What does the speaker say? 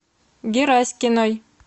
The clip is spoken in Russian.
гераськиной